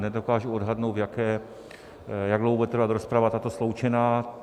Nedokážu odhadnout, jak dlouho bude trvat rozprava, tato sloučená.